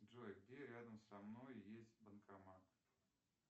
джой где рядом со мной есть банкомат